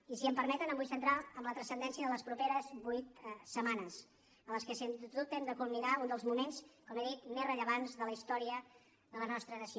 i si m’ho permeten em vull centrar en la transcendència de les properes vuit setmanes en què sens dubte hem de culminar un dels moments com he dit més rellevants de la història de la nostra nació